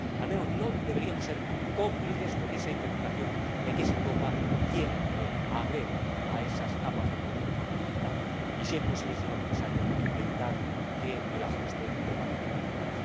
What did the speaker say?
al menos no deberíamos ser cómplices de esa interpretación de que es Europa quien agrede a esas capas de población más necesitadas. Y si es posible, señor Comisario, debemos evitar que el ajuste lo paguen los más débiles.